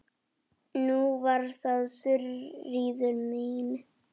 Nú var það Þuríður mín.